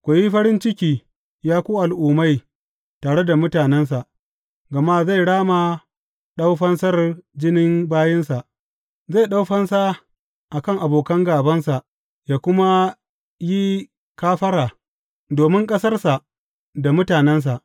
Ku yi farin ciki, ya ku al’ummai, tare da mutanensa, gama zai rama ɗau fansar jinin bayinsa; zai ɗau fansa a kan abokan gābansa yă kuma yi kafara domin ƙasarsa da mutanensa.